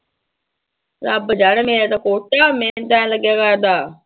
ਰੱਬ ਜਾਣੇ ਮੇਰਾ ਤਾਂ ਕੋਟਾ, ਮੈਨੂੰ ਤਾਂ ਇਉਂ ਲੱਗਿਆ ਕਰਦਾ